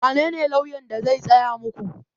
Wanene lauyan da zai tsaya muku?